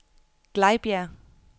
Glejbjerg